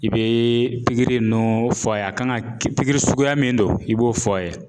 I bɛ pikiri ninnu fɔ a ye a kan ka pikiri suguya min don i b'o fɔ a ye